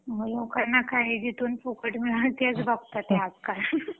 लोकांना काय आहे जिथून फुकट मिळेल तेच बघतात आज काल